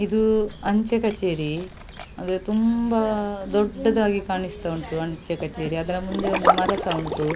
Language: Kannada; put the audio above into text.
ಇದು ಅಂಚೆ ಕಛೇರಿ ಅದು ತುಂಬ ದೊಡ್ಡದಾಗಿ ಕಾಣಿಸ್ತಾ ಉಂಟು ಅಂಚೆ ಕಛೇರಿ ಅದ್ರ ಮುಂದೆ ಒಂದು ಮರಸ ಉಂಟು .